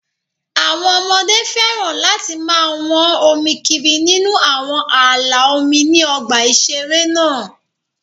Àwọn ọmọdé féràn láti máa wọ́n omi kiri nínú àwọn ààlà omi ní ọgbà ìṣeré náà